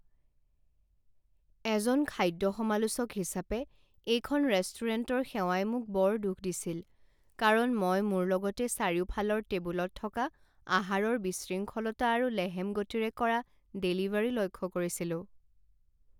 এজন খাদ্য সমালোচক হিচাপে, এইখন ৰেষ্টুৰেণ্টৰ সেৱাই মোক বৰ দুখ দিছিল কাৰণ মই মোৰ লগতে চাৰিওফালৰ টেবুলত থকা আহাৰৰ বিশৃংখলতা আৰু লেহেম গতিৰে কৰা ডেলিভাৰী লক্ষ্য কৰিছিলো।